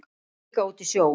Líka út í sjó.